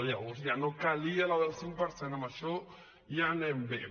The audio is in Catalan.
llavors ja no calia la del cinc per cent en això ja anem bé